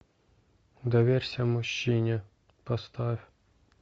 доверься мужчине поставь